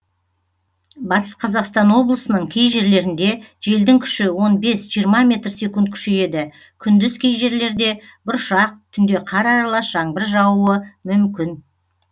батыс қазақстан облысының кей жерлерінде желдің күші он бес жиырма метр секунд күшейеді күндіз кей жерлерде бұршақ түнде қар аралас жаңбыр жаууы мүмкін